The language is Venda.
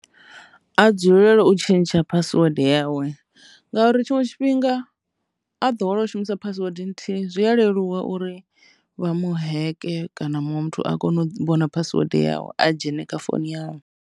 A dzulele u tshintsha phasiwede yawe ngauri tshiṅwe tshifhinga a ḓowela u shumisa phasiwede nthihi zwi a leluwa uri vha mu heke kana muṅwe muthu a kone u vhona phasiwede yawe a dzhene kha founu yawe.